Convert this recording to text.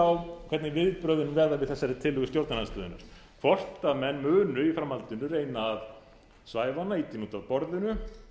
á hvernig viðbrögðin verða við þessari tillögu stjórnarandstöðunnar hvort menn munu í framhaldinu reyna að svæfa hana ýta henni út af borðinu